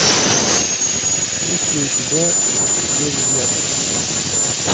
есть ли у тебя без изъяна